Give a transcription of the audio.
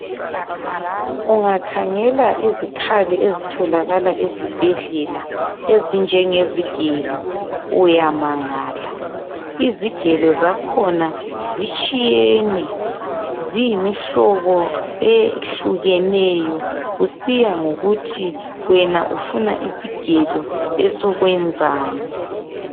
Ungakhangela izikhali ezitholakala ezibhedlela. Ezinjenge zigelo uyamangala. Izigelo zakhona zitshiyene. Ziyimihlobo ehlukeneyo. Kusiya ngokuthi wena ufuna isigelo esokwenzani.